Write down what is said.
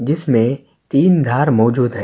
جسمے تین دھار موزود ہے۔